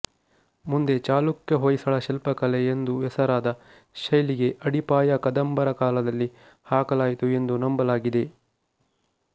ಮುಂದೆ ಚಾಲುಕ್ಯ ಹೊಯ್ಸಳ ಶಿಲ್ಪಕಲೆ ಎಂದು ಹೆಸರಾದ ಶೈಲಿಗೆ ಅಡಿಪಾಯ ಕದಂಬರ ಕಾಲದಲ್ಲಿ ಹಾಕಲಾಯಿತು ಎಂದು ನಂಬಲಾಗಿದೆ